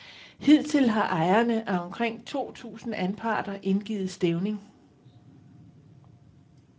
Hidtil har ejerne af omkring to tusind anparter indgivet stævning.